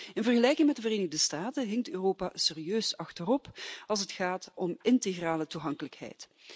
In vergelijking met de Verenigde Staten hinkt Europa serieus achterop als het gaat om integrale toegankelijkheid.